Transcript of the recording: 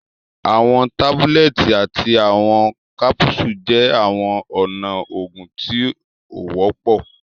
Àwọn tábúlẹ̀tì àti àwọn kápúsù jẹ́ àwọn ọ̀nà oògùn tí o wọpọ